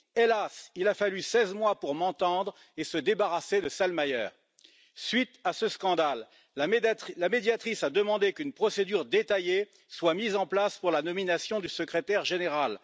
Hélas, il a fallu 16 mois pour m'entendre et se débarrasser de Selmayr. Suite à ce scandale, la Médiatrice a demandé qu'une procédure détaillée soit mise en place pour la nomination du secrétaire général.